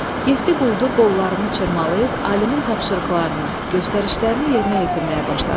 Yeddi quldur qollarını çırmalayıb alimin tapşırıqlarını, göstərişlərini yerinə yetirməyə başladı.